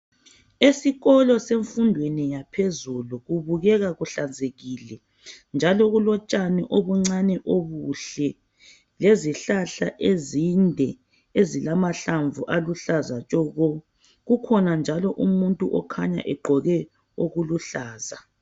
Esikolo semfundweni yaphezulu kubukeka kuhlanzekile njalo kulotshani obuncane obuhle lezihlahla ezinde ezilamahlamvu aluhlaza tshoko kukhona njalo umuntu okhanya egqoke okuluhlaza.